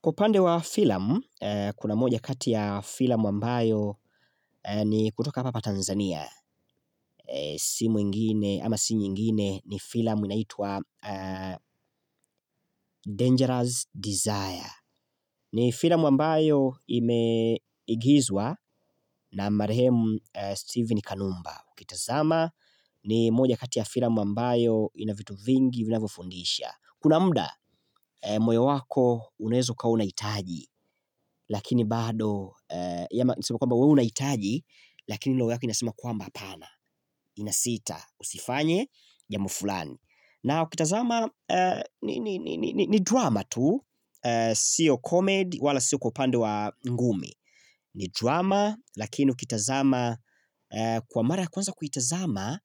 Kwa upande wa filam kuna moja kati ya filamu ambayo ni kutoka hapa Tanzania Si mwingine ama si nyingine ni filam inaitwa Dangerous Desire ni filamu ambayo imeigizwa na Marehemu Steven Kanumba ukitazama ni moja kati ya filamu ambayo inavitu vingi vinavyofundisha Kuna muda moyo wako unaeza ukawa unaitaji, lakini bado, nisema kwamba we unaitaji, lakini roho yako inasema kwamba apana, inasita, usifanye jambo fulani. Na ukitazama ni drama tu, sio comedy wala sio kwa upande wa ngumi. Ni drama lakini kwa mara ya kwanza kuitazama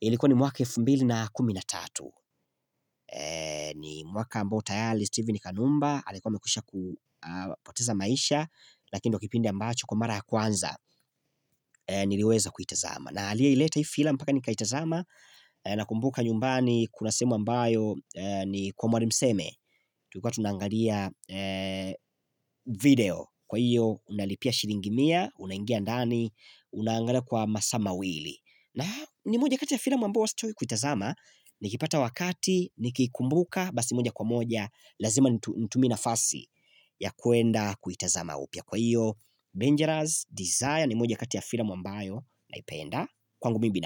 ilikuwa ni mwaka elfu mbili na kumi na tatu ni mwaka ambao tayali, Stevin kanumba, alikuwa amekwisha kupoteza maisha Lakini ndio kipindi ambacho kwa mara ya kwanza niliweza kuitazama na aliyeileta hii filam mpaka nikaitazama na kumbuka nyumbani kuna sehemu ambayo ni kwa mwarimu seme Tulikuwa tunaangalia video kwa hiyo unalipia shiringi mia, unangia ndani, unangalia kwa masaa mawili na ni moja kati ya filamu ambayo huwa sichoki kuitazama Nikipata wakati, nikikumbuka, basi moja kwa moja Lazima nitumie nafasi ya kuenda kuitazama upya Kwa hiyo, Dangerous Desire ni moja kati ya filmu ambayo naipenda Kwangu mi bina.